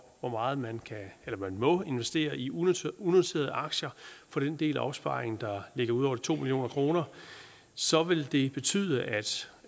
hvor meget man man må investere i unoterede unoterede aktier for den del af opsparingen der ligger ud over de to million kr så vil det betyde at